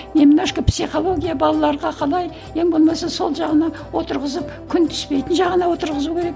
немножко психология балаларға қалай ең болмаса сол жағына отырғызып күн түспейтін жағына отырғызу керек